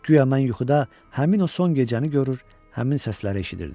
Guya mən yuxuda həmin o son gecəni görür, həmin səsləri eşidirdim.